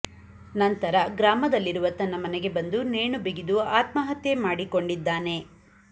ನಂತರ ಗ್ರಾಮದಲ್ಲಿರುವ ತನ್ನ ಮನೆಗೆ ಬಂದು ನೇಣು ಬಿಗಿದು ಆತ್ಮಹತ್ಯೆ ಮಾಡಿಕೊಂಡಿದ್ದಾನೆ